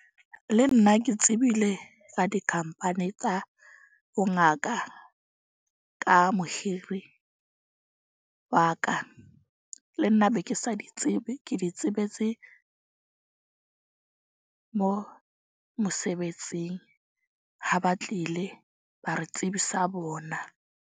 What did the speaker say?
Le nna ke tsebile ka dikhampani tsa bongaka ka mohiri wa ka, le nna be ke sa di tsebe. Ke di sebetse mo mosebetsing ha ba tlile ba re tsebisa bona.